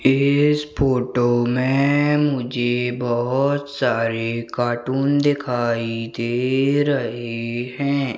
इस फोटो में मुझे बहुत सारे कार्टून दिखाई दे रहे हैं।